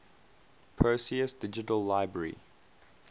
perseus digital library